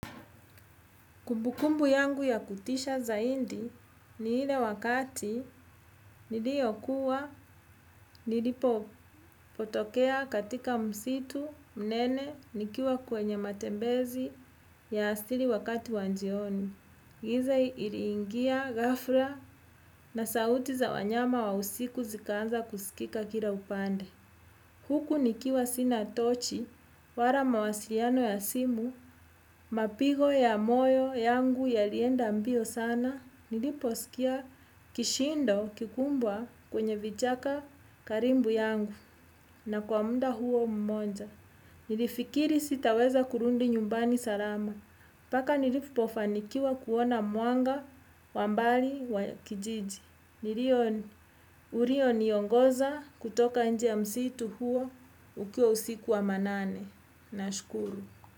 Kumbukumbu yangu ya kutisha zaidi ni ile wakati niliokuwa nilipo potokea katika msitu mnene nikiwa kwenye matembezi ya siri wakati wa jioni. Giza ili ingia ghafla na sauti za wanyama wa usiku zikaanza kusikika kila upande. Huku nikiwa sina tochi, wala mawasiliano ya simu, mapigo ya moyo yangu yalienda mbio sana, niliposikia kishindo kikubwa kwenye vichaka karibu yangu na kwa muda huo mmoja. Nilifikiri sitaweza kurudi nyumbani salama, mpaka nilipofanikiwa kuona mwanga wa mbali wa kijiji. Nilio ulioniongoza kutoka nje ya msitu huo ukiwa usiku wa manane. Na shukuru.